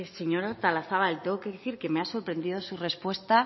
señora artolazabal tengo que decir que me ha sorprendido su respuesta